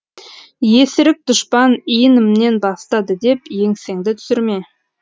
есіріп дұшпан иінімнен басты деп еңсеңді түсірме